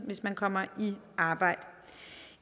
hvis man kommer i arbejde